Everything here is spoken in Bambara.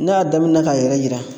N;a y'a daminɛ k'a yɛrɛ yira